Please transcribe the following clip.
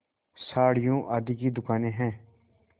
साड़ियों आदि की दुकानें हैं